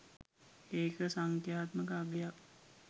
ඒක සංඛ්‍යාත්මක අගයක්